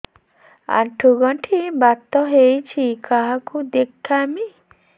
ଆଣ୍ଠୁ ଗଣ୍ଠି ବାତ ହେଇଚି କାହାକୁ ଦେଖାମି